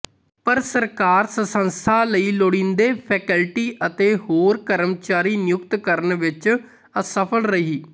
ਪਰ ਸਰਕਾਰ ਸੰਸਥਾ ਲਈ ਲੋੜੀਂਦੇ ਫੈਕਲਟੀ ਅਤੇ ਹੋਰ ਕਰਮਚਾਰੀ ਨਿਯੁਕਤ ਕਰਨ ਵਿੱਚ ਅਸਫਲ ਰਹੀ